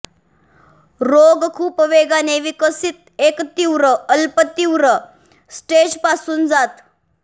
रोग खूप वेगाने विकसित एक तीव्र अल्पतीव्र स्टेज पासून जात